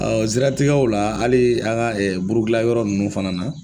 o siratigɛw la hali a ka buru dilan yɔrɔ nunnu fana na.